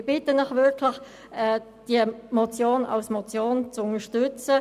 Ich bitte Sie wirklich, diese Motion als Motion zu unterstützen.